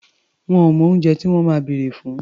Wọn ò mọ oúnjẹ tí wọ́n máa bèrè fún.